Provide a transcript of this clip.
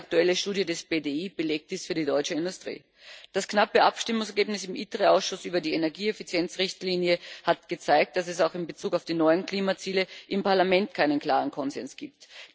Eine aktuelle Studie des BDI belegt dies für die deutsche Industrie. Das knappe Abstimmungsergebnis im ITRE Ausschuss über die Energieeffizienzrichtlinie hat gezeigt, dass es auch in Bezug auf die neuen Klimaziele im Parlament keinen klaren Konsens gibt.